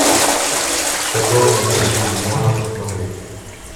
чистокровные какие можно посмотреть